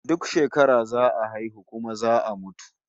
Duk shekara za a haihu kuma za a mutu